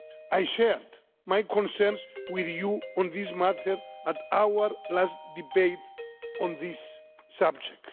I shared my concerns with you on this matter at our last debate on this subject.